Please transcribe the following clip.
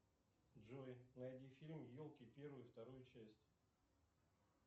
джой найди фильм елки первую и вторую часть